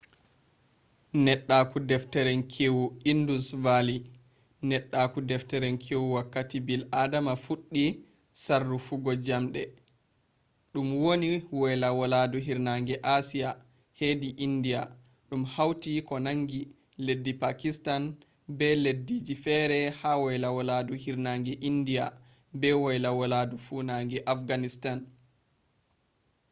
neddaaku-defterinkeewu indus valley neddaaku-defterinkeewu wakkati bil'adama fuddi sarrufuggo jamde dum wonni woyla walaadu hirnange asiya hedi india dum hauti ko nangi leddi pakistan be leddiji fere ha woyla walaadu hirnange india be woyla walaadu funange afghanistan